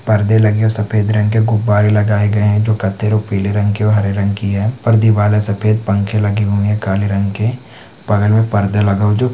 परदे लगे है सफेद रंग के गुबारे लगाए गए है जो कत्थे और पिले रंग के और हरे रंग की है पर दीवाल है सफेद पंखे लगे हुवे है काले रंग के बगल में परदे लगे हुवा जो--